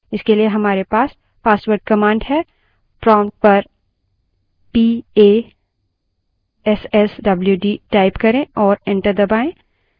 इसके लिए हमारे passwd passwd command है prompt पर passwd type करें और एंटर दबायें